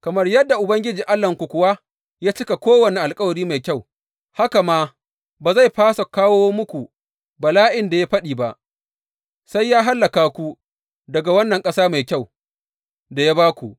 Kamar yadda Ubangiji Allahnku kuwa ya cika kowane alkawari mai kyau, haka ma ba zai fasa kawo muku bala’in da ya faɗi ba, sai ya hallaka ku daga wannan ƙasa mai kyau da ya ba ku.